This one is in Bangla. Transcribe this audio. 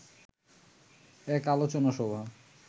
এক আলোচনা সভা